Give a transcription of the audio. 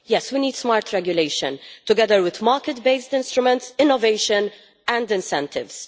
We need smart regulation, together with market based instruments, innovation and incentives.